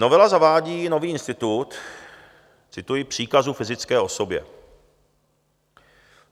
Novela zavádí nový institut - cituji - příkazu fyzické osobě.